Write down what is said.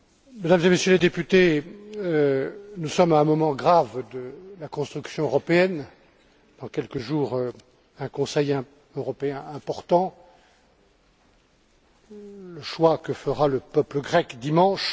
Mesdames et Messieurs les députés, nous sommes à un moment grave de la construction européenne dans quelques jours, un Conseil européen important, le choix que fera le peuple grec dimanche...